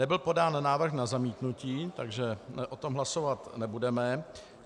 Nebyl podán návrh na zamítnutí, takže o tom hlasovat nebudeme.